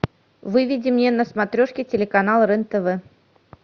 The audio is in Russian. выведи мне на смотрешке телеканал рен тв